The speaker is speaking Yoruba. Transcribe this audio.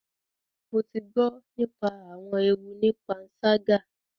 Mo ti gbọ nípa awọn ewu ní panṣaga